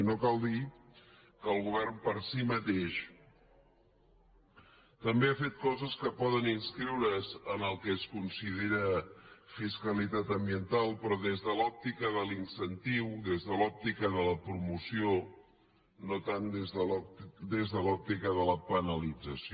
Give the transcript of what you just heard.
i no cal dir que el govern per si mateix també ha fet coses que poden inscriure’s en el que es considera fiscalitat ambiental però des de l’òptica de l’incentiu des de l’òptica de la promoció no tant des de l’òptica de la penalització